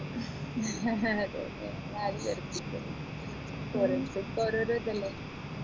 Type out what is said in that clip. അതെ അതെ നമ്മളാരെയും വെറുപ്പിക്കരുത് ഓരോരുത്തർക്കും ഓരോരോ ഇതല്ലേ